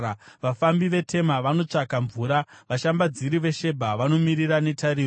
Vafambi veTema vanotsvaka mvura, vashambadziri veShebha vanomirira netariro.